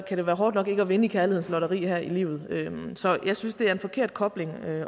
det være hårdt nok ikke at vinde i kærlighedens lotteri her i livet så jeg synes det er en forkert kobling at